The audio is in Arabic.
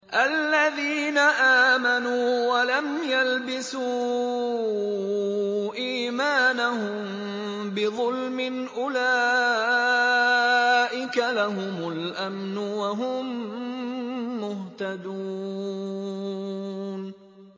الَّذِينَ آمَنُوا وَلَمْ يَلْبِسُوا إِيمَانَهُم بِظُلْمٍ أُولَٰئِكَ لَهُمُ الْأَمْنُ وَهُم مُّهْتَدُونَ